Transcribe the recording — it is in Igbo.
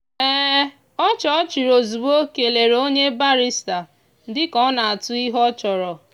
ọchị ọ chịrị ozugbo kelere onye barịsta dị ka ọ na-atụ ihe ọ chọrọ.